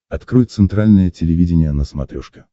открой центральное телевидение на смотрешке